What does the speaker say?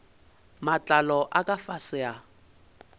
matlalo a ka fase a